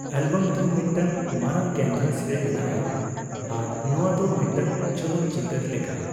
Album ᱫᱚ ᱢᱤᱫᱴᱟᱝ ᱢᱟᱨᱟᱝ ᱠᱮᱱᱵᱷᱟᱥᱨᱮ ᱢᱮᱱᱟᱜᱼᱟ ᱟᱨ ᱱᱚᱣᱟ ᱫᱚ ᱢᱤᱫᱴᱟᱝ ᱪᱚᱞᱚᱛᱪᱤᱛᱟᱹᱨ ᱞᱮᱠᱟ ᱾